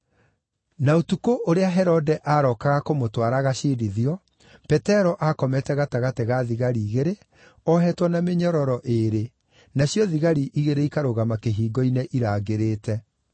Na ũtukũ ũrĩa Herode aarokaga kũmũtwara agaciirithio, Petero aakomete gatagatĩ ga thigari igĩrĩ, ohetwo na mĩnyororo ĩĩrĩ, nacio thigari igĩrĩ ikarũgama kĩhingo-inĩ irangĩrĩte.